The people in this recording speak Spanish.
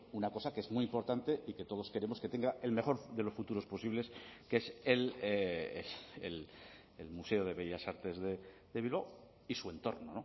una cosa que es muy importante y que todos queremos que tenga el mejor de los futuros posibles que es el museo de bellas artes de bilbao y su entorno